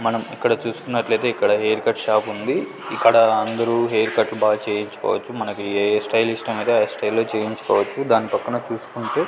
మనం ఇక్కడ చూసికున్నట్లు అయితే ఇక్కడ హెయిర్ కట్ షాప్ ఉంది ఇక్కడ అందరూ హెయిర్ కట్ బాగా చేయించుకోవచ్చు మనకి ఏ స్టైల్ ఇష్టం అయితే ఆ స్టైల్ లో చేయించుకోవచ్చు దాని పక్కన చూసుకుంటే.